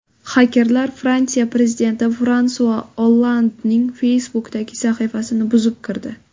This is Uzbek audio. Xakerlar Fransiya prezidenti Fransua Ollandning Facebook’dagi sahifasini buzib kirdi.